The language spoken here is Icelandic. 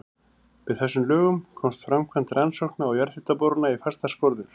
Með þessum lögum komst framkvæmd rannsókna og jarðhitaborana í fastar skorður.